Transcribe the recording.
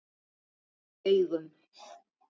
Í augum